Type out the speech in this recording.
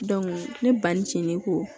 ne ba ni cin ne ko